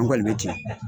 N kɔni bɛ tiɲɛ